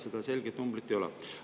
Seda selget numbrit ei ole.